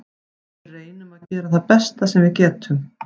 Við reynum að gera það besta sem við getum.